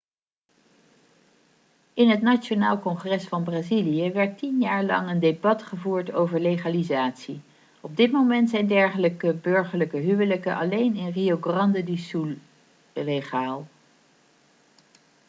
in het nationaal congres van brazilië werd 10 jaar lang een debat gevoerd over legalisatie op dit moment zijn dergelijke burgerlijke huwelijken alleen in rio grande do sul legaal